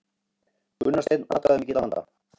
Gunnar Steinn atkvæðamikill að vanda